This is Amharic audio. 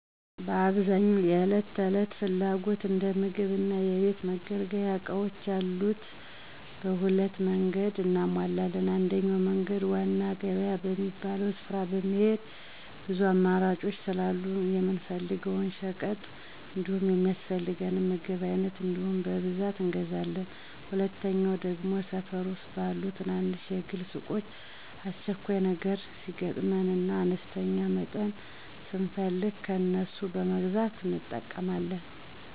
በአብዛኛው ለዕለት ተዕለት ፍላጎቶች እንደ ምግብ እና የቤት መገልገያ እቃዎች ያሉትን በሁለት መንገድ እናሟላለን። አንደኛው መንገድ ዋና ገበያ በሚባለው ስፍራ በመሄድ ብዙ አማራጮች ስላሉ የምንፈልገውን ሸቀጥ እንዲሁም የሚያስፈልገንን ምግብ በአይነት እንዲሁም በብዛት እንገዛለን፤ ሁለተኛው ደግሞ ሠፈር ዉስጥ ባሉ ትናንሽ የግል ሱቆች አስቸኳይ ነገር ሲገጥመን እና በአነስተኛ መጠን ስንፈልግ ከነሱ በመግዛት እንጠቀማለን።